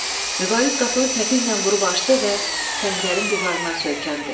Mübariz qapını təpiklə vurub açdı və səngərin divarına söykəndi.